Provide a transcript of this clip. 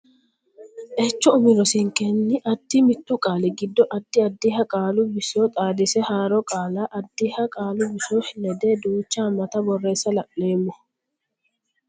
echo umi rosinkenni addi mittu qaali giddo addi addiha qaalu biso xaadise haaro qaalla addiha qaalu biso ledde duucha haammata borreessa la neemmo.